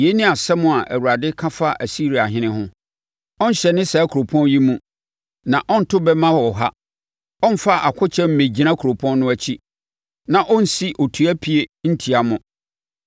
“Yei ne asɛm a Awurade ka fa Asiriahene ho: “Ɔrenhyɛne saa kuropɔn yi mu na ɔrento bɛmma wɔ ha. Ɔremfa akokyɛm mmɛnnyina kuropɔn no akyi na ɔrensi otua pie ntia no.